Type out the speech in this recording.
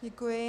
Děkuji.